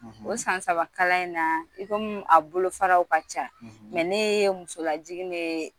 O san sabakalan in na i komi a bolofararaw ka ca ɛ ne ye musolajigin de